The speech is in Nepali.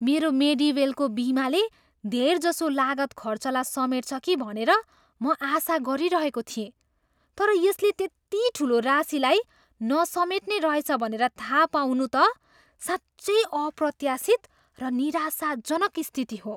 मेरो मेडिवेलको बिमाले धेरजसो लागत खर्चलाई समेट्छ कि भनेर म आशा गरिरहेको थिएँ। तर यसले त्यति ठुलो राशीलाई नसमेट्ने रहेछ भनेर थाहा पाउनु त साँच्चै अप्रत्यासित र निराशाजनक स्थिति हो।